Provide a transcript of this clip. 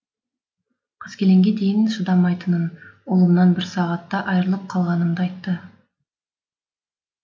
қаскелеңге дейін шыдамайтынын ұлымнан бір сағатта айырылып қалғанымды айттым